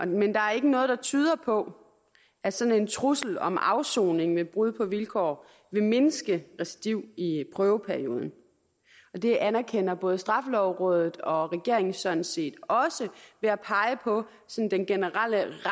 men der er ikke noget der tyder på at sådan en trussel om afsoning ved brud på vilkår vil mindske recidiv i prøveperioden det anerkender både straffelovrådet og regeringen sådan set også ved at pege på den generelle